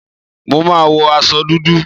Mo má wo aṣọ dúdú.